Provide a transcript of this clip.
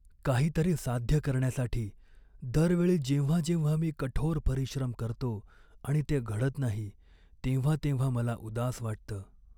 काहीतरी साध्य करण्यासाठी दर वेळी जेव्हा जेव्हा मी कठोर परिश्रम करतो आणि ते घडत नाही, तेव्हा तेव्हा मला उदास वाटतं.